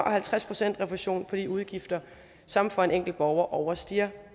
og halvtreds procent i refusion for de udgifter som for en enkelt borger overstiger